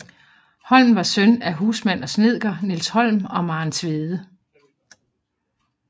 Holm var søn af husmand og snedker Niels Holm og Maren Tvede